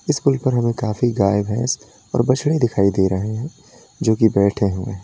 school पर हमें काफी गाय भैंसे और बछड़े दिखाई दे रहे हैं जो कि बैठे हुए--